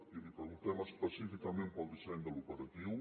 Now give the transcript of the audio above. i li preguntem específicament pel disseny de l’operatiu